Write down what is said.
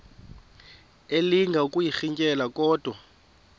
elinga ukuyirintyela kodwa